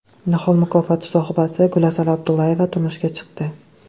Nihol mukofoti sohibasi Gulasal Abdullayeva turmushga chiqdi .